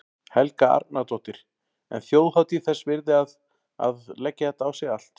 Helga Arnardóttir: En þjóðhátíð þess virði að, að leggja þetta á sig allt?